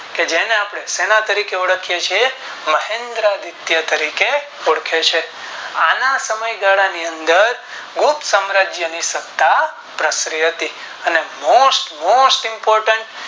કે જેને આપણે શેના તારીખે ઓળખીયે છીએ મહેન્દ્રા ગુપ્ત તરીકે ઓળખીયે છીએ આના સમય ગાળા ની અંદર ગુપ્ત સામ્રાજ્યની સત્તા પ્રસરી હતી અને Most most important